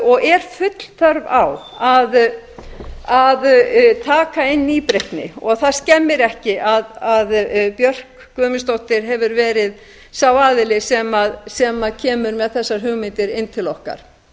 og er full þörf á að taka inn nýbreytni það skemmir ekki að björk guðmundsdóttir hefur verið sá aðili sem kemur með þessar hugmyndir inn til okkar